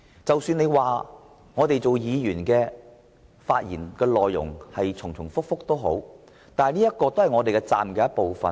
即使他指議員的發言內容重複，但發言其實是議員的責任之一。